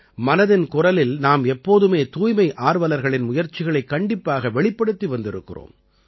மனதின் குரலில் நாம் எப்போதுமே தூய்மை ஆர்வலர்களின் முயற்சிகளைக் கண்டிப்பாக வெளிப்படுத்தி வந்திருக்கிறோம்